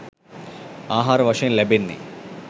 ආහාර වශයෙන් ලැබෙන්නේ